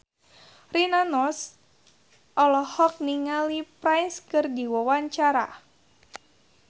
Rina Nose olohok ningali Prince keur diwawancara